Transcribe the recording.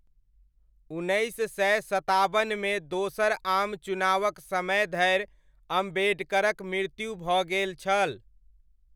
उन्नैस सय सताबनमे दोसर आम चुनावक समय धरि अम्बेडकरक मृत्यु भऽ गेल छल।